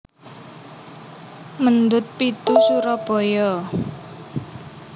Mendut pitu Surabaya